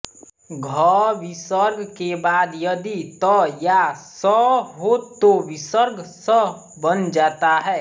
घ विसर्ग के बाद यदि त या स हो तो विसर्ग स् बन जाता है